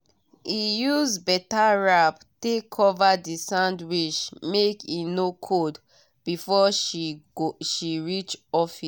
e use better wrap take cover the sandwich make e no cold before she reach office.